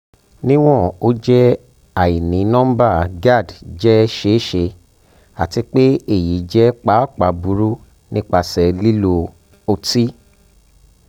niwon o jẹ onínọmbà gerd jẹ ṣeeṣe ati pe eyi jẹ paapaa buru nipasẹ lilo oti